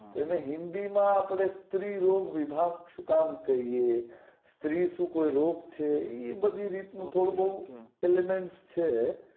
એને હિન્દી માં આપડે સ્ત્રી રોગ કૈયે સ્ત્રી શું કોઈ રોગ છે એ બધી રીત નું થોડું બોવ છે